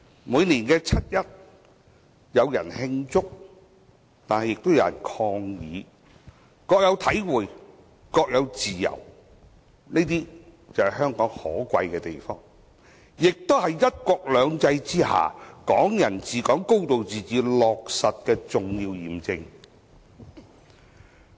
每年七一，有人慶祝亦有人抗議，各有體會，各有自由，這就是香港可貴之處，也是"一國兩制"下"港人治港"、"高度自治"得到落實的重要驗證。